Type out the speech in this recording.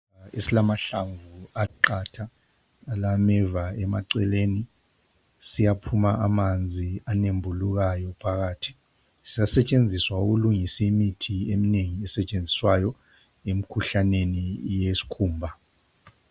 Isihlahla esilahlamvu aqatha alameva eceleni. Siyaphuma amanzi anembulukayo phakathi. Siyasetshenziswa ukulungisa imithi eminengi esetshenziswayo emikhuhlaneni yeskhumba.